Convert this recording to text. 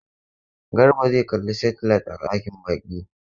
Garba zai kalli saitilait a dakin baƙi.